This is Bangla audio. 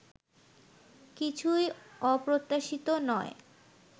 কিছুই অপ্রত্যাশিত নয়